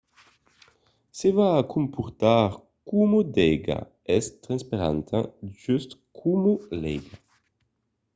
se va comportar coma d’aiga. es transparenta just coma l’aiga